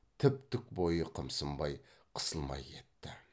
тіп тік бойы қымсынбай қысылмай кетті